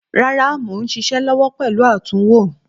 Rárá mò ń ṣiṣẹ́ lọ́wọ́ pẹ̀lú àtúnwò.